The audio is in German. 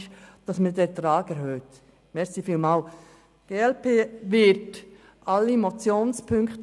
Diese verrichtet einen sehr wichtigen Job.